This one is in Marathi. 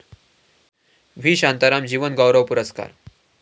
व्ही. शांताराम जीवनगौरव पुरस्कार